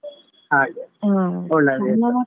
ಹಾಗೆ ಒಳ್ಳೆ ಆಗ್ತದೆ.